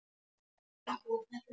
Engin hætta á öðru!